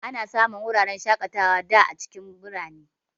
Ana samun wuraren shakatawa da a cikin birane.